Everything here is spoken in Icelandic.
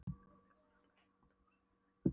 Klukkan var á slaginu átta á úrsvölum rigningardegi.